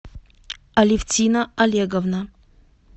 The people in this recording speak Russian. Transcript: алевтина олеговна